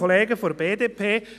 Da sagen wir von der BDP: